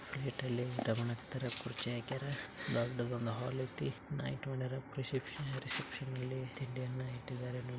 ಪ್ಲೆಟನಾಗ್ ಊಟ ಮಡಗತ್ತಾರ್ ದೊಡ್ಡದು ಒಂದು ಹಾಲ್ ಐತಿ ರಿಸೆಪ್ಶನ್ --]